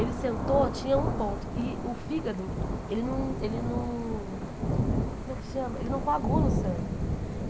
Ele sentou, tinha um ponto, e o fígado, ele não ele não como é que chama ele não coagula o sangue.